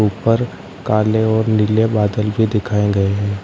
ऊपर काले और नीले बादल भी दिखाए गए हैं।